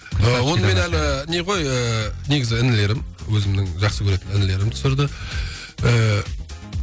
ы оны мен әлі не ғой ыыы негізі інілерім өзімнің жақсы көретін інілерім түсірді ііі